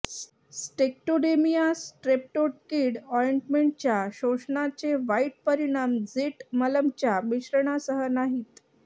स्टॅक्टोडेमिया स्ट्रेप्टोकिड ऑयंटमेंटच्या शोषणाचे वाईट परिणाम झीट मलमच्या मिश्रणासह नाहीत